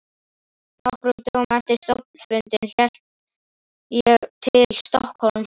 Nokkrum dögum eftir stofnfundinn hélt ég til Stokkhólms og hitti